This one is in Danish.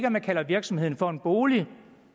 at man kalder virksomheden for en bolig